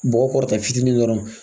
Bɔgɔ kɔrɔta fitinin dɔrɔn